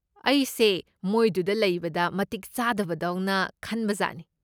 ꯑꯩꯁꯦ ꯃꯣꯏꯗꯨꯗ ꯂꯩꯕꯗ ꯃꯇꯤꯛ ꯆꯥꯗꯕꯗꯧꯅ ꯈꯟꯕꯖꯥꯠꯅꯤ꯫